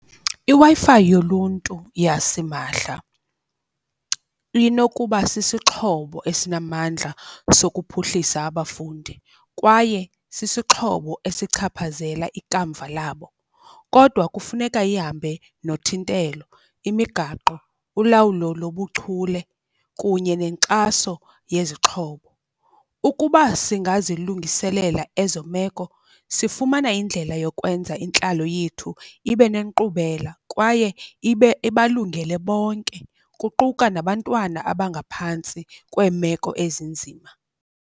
IWi-Fi yoluntu yasimahla inokuba sisixhobo esinamandla sokuphuhlisa abafundi kwaye sisixhobo esichaphazela ikamva labo. Kodwa kufuneka ihambe nothintelo, imigaqo, ulawulo lobuchule kunye nenkxaso yezixhobo. Ukuba singazilungiselela ezo meko, sifumana indlela yokwenza intlalo yethu ibe nenkqubela kwaye ibe ibalungele bonke kuquka nabantwana abangaphantsi kweemeko ezinzima.